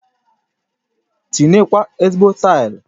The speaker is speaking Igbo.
Tinye kwa ezigbo taili